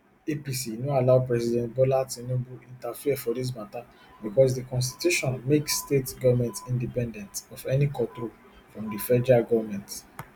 apc no allow president bola tinubu interfere for dis matta becos di constitution make states goments independent of any control from di federal goment